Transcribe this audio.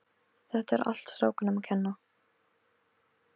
Þetta er allt strákunum að kenna.